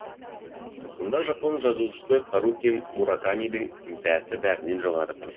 мұнда жапон жазушысы харуки муракамидың бәсі бәрінен жоғары тұр